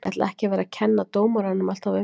Ég ætla ekki að vera að kenna dómaranum alltaf um.